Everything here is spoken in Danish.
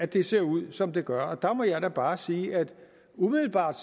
det ser ud som det gør der må jeg bare sige at umiddelbart